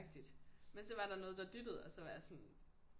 Men så var der noget der dyttede og så var jeg sådan